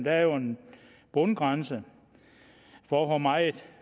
er jo en bundgrænse for hvor meget